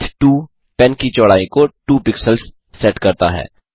pen width 2 pen की चौड़ाई को 2 पिक्सेल्स सेट करता है